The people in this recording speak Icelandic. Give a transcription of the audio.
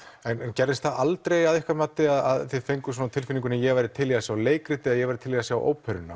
gerðist það aldrei að ykkar mati að þið fenguð á tilfinninguna ég væri til í að sjá leikrit ég væri til í að sjá óperuna